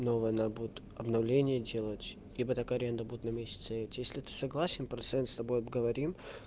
новое надо будет обновление делать ибо так аренда будут на месяц и идти если ты согласен процент с тобой поговорим